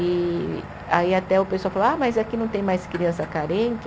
E aí até o pessoal falou, ah mas aqui não tem mais criança carente?